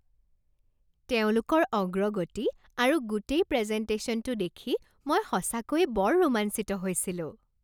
তেওঁলোকৰ অগ্ৰগতি আৰু গোটেই প্ৰেজেনটেশ্যনটো দেখি মই সঁচাকৈ বৰ ৰোমাঞ্চিত হৈছিলোঁ।